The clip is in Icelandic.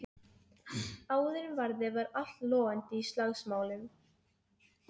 Skreytið fiskstykkin með rækjum og rifnum appelsínuberki.